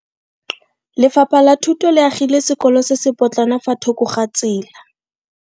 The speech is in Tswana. Lefapha la Thuto le agile sekolo se se potlana fa thoko ga tsela.